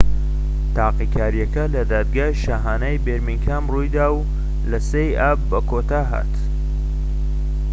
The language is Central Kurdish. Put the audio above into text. تاقیکاریەکە لە دادگای شاهانەیی بێرمینگهام ڕوویدا و لە 3ی ئاب بەکۆتا هات